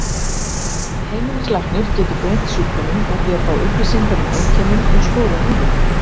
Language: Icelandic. Heimilislæknir getur greint sjúkdóminn með því að fá upplýsingar um einkennin og skoða húðina.